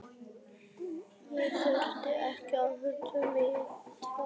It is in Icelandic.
Ég þurfti ekki að hugsa mig um tvisvar.